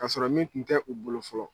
Kasɔrɔ min tun tɛ u bolo fɔlɔ